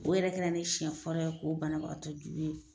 O yɛrɛ kɛra ni siyɛn fɔlɔ ye k'o bana bagatɔ jugu ye.